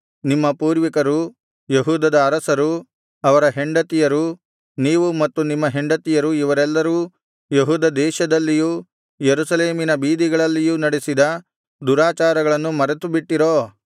ನಿಮ್ಮ ಪೂರ್ವಿಕರು ಯೆಹೂದದ ಅರಸರು ಅವರ ಹೆಂಡತಿಯರು ನೀವು ಮತ್ತು ನಿಮ್ಮ ಹೆಂಡತಿಯರು ಇವರೆಲ್ಲರೂ ಯೆಹೂದ ದೇಶದಲ್ಲಿಯೂ ಯೆರೂಸಲೇಮಿನ ಬೀದಿಗಳಲ್ಲಿಯೂ ನಡೆಸಿದ ದುರಾಚಾರಗಳನ್ನು ಮರೆತುಬಿಟ್ಟಿರೋ